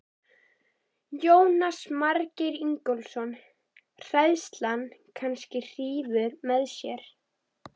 Jónas Margeir Ingólfsson: Hræðslan kannski hrífur með sér?